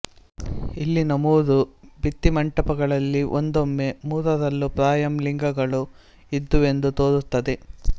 ಇಲ್ಲಿನ ಮೂರು ಭಿತ್ತಿಮಂಟಪಗಳಲ್ಲಿ ಒಂದೊಮ್ಮೆ ಮೂರರಲ್ಲೂ ಪ್ರಾಯಃ ಲಿಂಗಗಳೂ ಇದ್ದುವೆಂದು ತೋರುತ್ತದೆ